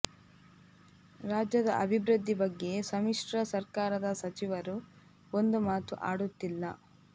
ರಾಜ್ಯದ ಅಭಿವೃದ್ಧಿ ಬಗ್ಗೆ ಸಮಿಶ್ರ ಸರ್ಕಾರದ ಸಚಿವರು ಒಂದು ಮಾತು ಅಡುತ್ತಿಲ್ಲ